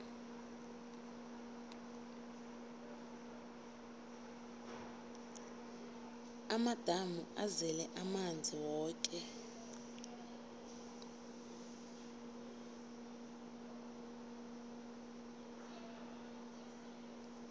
amadamu azele amanzi woke